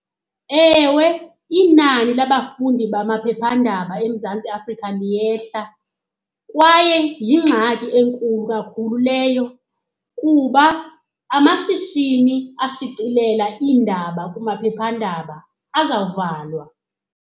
Ewe, inani labafundi bamaphephandaba eMzantsi Afrika liyehla kwaye yingxaki enkulu kakhulu leyo kuba amashishini ashicilela iindaba kumaphephandaba azawuvalwa.